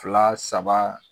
Fila saba